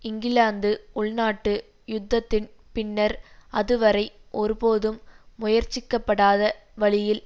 இங்கிலாந்து உள்நாட்டு யுத்தத்தின் பின்னர் அதுவரை ஒருபோதும் முயற்சிக்கப்படாத வழியில்